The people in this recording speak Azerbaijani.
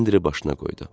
Silindiri başına qoydu.